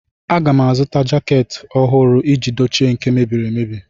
Aga m azụta jaakị ọhụrụ iji dochie nke mebiri emebi.